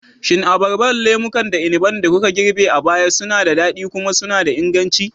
Shin Abarbar, lemukan, da inabin da kuka girbe a baya suna da daɗi kuma suna da inganci?